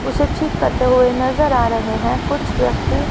उसे ठीक करते हुए नजर आ रहे हैं कुछ व्यक्ति--